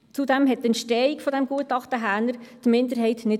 Zudem überzeugte die Entstehung des Gutachtens Häner die Minderheit nicht.